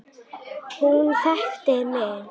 Hún þekkti mig.